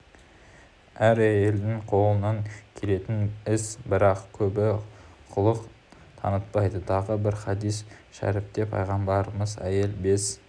әр әйелдің қолынан келетін іс бірақ көбі құлық танытпайды тағы бір хадис шәріпте пайғамбарымыз әйел бес